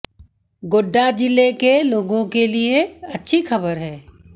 गोड्डा जिले के लोगों के लिए अच्छी खबर है